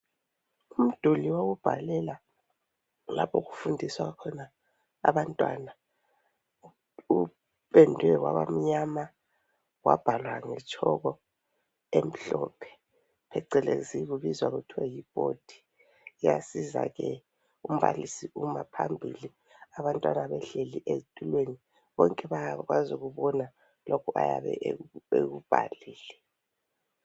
Umduli wokubhalela lapho okufundiswa khona abantwana, upendwe wabamnyama wabhalwa ngetshoko emhlophe phecelezi kubizwa kuthiwe yiboard. Iyasiza ke umbalisi uma phambili abantwana behleli ezitulweni bonke bayakwazi ukubona lokhu ayabe ekubhalile.